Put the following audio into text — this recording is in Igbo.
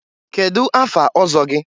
kedụ afa ọzọ gị?